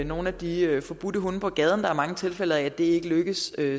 nogle af de forbudte hunde på gaden der er mange tilfælde hvor det ikke lykkes